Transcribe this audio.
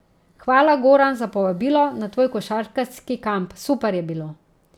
Hvala, Goran, za povabilo na tvoj košarkarski kamp, super je bilo.